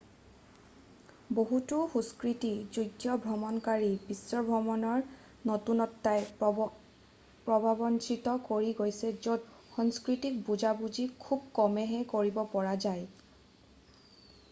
বহুতো সুস্থিৰ যোগ্য ভ্ৰমণকাৰীক বিশ্বভ্ৰমণৰ নতুনত্বই প্ৰভাৱান্বিত কৰি গৈছে য'ত সাংস্কৃতিক বুজাবুজি খুব কমেইহে কৰিব পৰা যায়